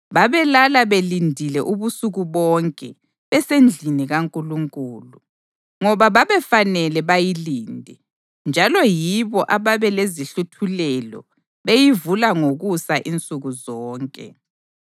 Babelala belindile ubusuku bonke besendlini kaNkulunkulu, ngoba babefanele bayilinde; njalo yibo ababelezihluthulelo beyivula ngokusa insuku zonke.